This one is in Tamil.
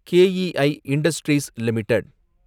K E I industries limited